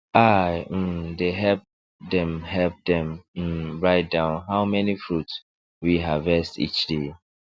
i um dey help dem help dem um write down how many fruit we um harvest each day